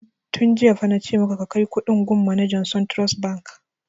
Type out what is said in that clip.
Tun jiya fa na ce maka ka kai kuɗin gun manajan suntrust bank!